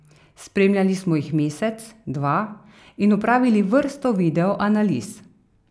Spremljali smo jih mesec, dva in opravili vrsto video analiz.